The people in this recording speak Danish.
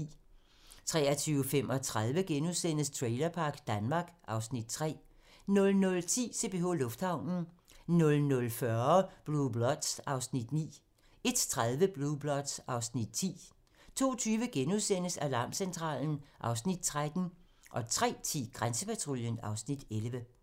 23:35: Trailerpark Danmark (Afs. 3)* 00:10: CPH Lufthavnen 00:40: Blue Bloods (Afs. 9) 01:30: Blue Bloods (Afs. 10) 02:20: Alarmcentralen (Afs. 13)* 03:10: Grænsepatruljen (Afs. 11)